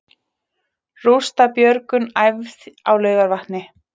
Rústabjörgun æfð á Laugarvatni